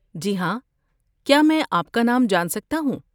جی ہاں. کیا میں آپ کا نام جان سکتا ہوں؟